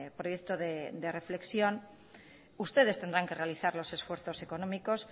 proyecto de reflexión ustedes tendrán que realizar los esfuerzos económicos